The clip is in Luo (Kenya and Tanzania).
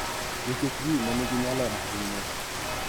Nikech ji ma nigi nyalo ahinya .